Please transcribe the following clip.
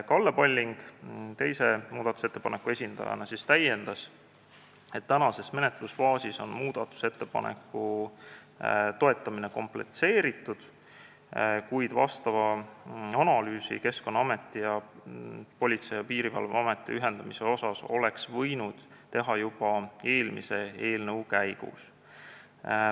Kalle Palling muudatusettepaneku esitajana täiendas, et praeguses menetlusfaasis on muudatusettepaneku toetamine komplitseeritud, kuid analüüsi Keskkonnaameti ning Politsei- ja Piirivalveameti ühendamise kohta oleks võinud teha juba eelmise eelnõu menetlemise käigus.